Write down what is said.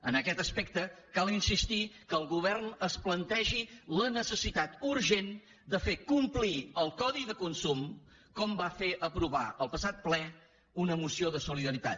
en aquest aspecte cal insistir que el govern es plantegi la necessitat urgent de fer complir el codi de consum com va fer aprovar el passat ple una moció de solidaritat